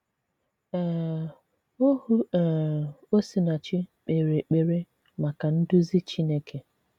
um Ohù um Osinàchì k̀pèrè èkpèrè maka nduzi Chineke.